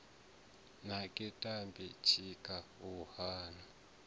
naki tamba tshika u nake